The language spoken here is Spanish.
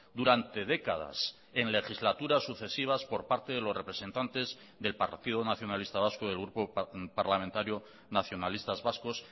durante décadas en legislaturas sucesivas por parte de los representantes del partido nacionalista vasco del grupo parlamentario nacionalistas vascos